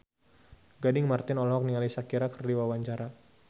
Gading Marten olohok ningali Shakira keur diwawancara